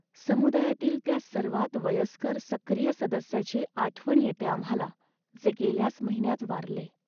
समुदायातील त्या सर्वात वयस्कर सक्रिय सदस्याची आठवण येते आम्हाला, जे गेल्याच महिन्यात वारले.